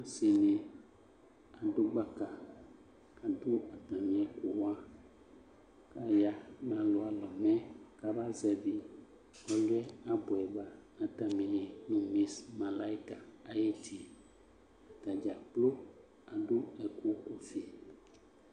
Ɔsɩ dɩ adʋ gbaka kʋ adʋ atamɩ ɛkʋ wa kʋ aya nʋ alʋalɔ mɛ kabazɛvɩ ɔlʋ yɛ abʋɛ ba nʋ atamɩli yɛ mʋ mis malayɩka ayʋ ɩtɩ yɛ Ata dza kplo adʋ ɛkʋ ɔvɛ